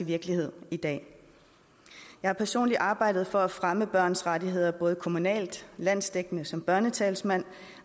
virkelighed i dag jeg har personligt arbejdet for at fremme børns rettigheder både kommunalt landsdækkende som børnetalsmand